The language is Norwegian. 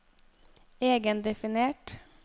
egendefinert